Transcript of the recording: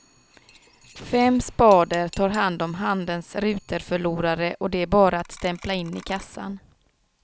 Fem spader tar hand om handens ruterförlorare och det är bara att stämpla in i kassan.